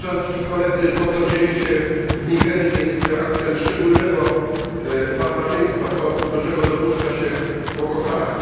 To, co dzieje się w Nigerii, jest aktem szczególnego barbarzyństwa, to czego dopuszcza się Boko Haram.